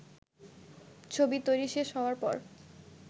ছবি তৈরি শেষ হওয়ার পর